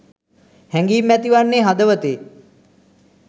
හැඟීම් ඇතිවන්නේ හදවතේ